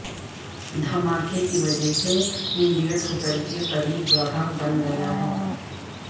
دھماکے کی وجہ سے میریئٹ ہوٹل کے قریب گڑھا بن گیا ہے